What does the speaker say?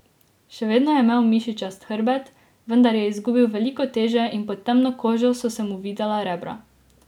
Še vedno je imel mišičast hrbet, vendar je izgubil veliko teže in pod temno kožo so se mu videla rebra.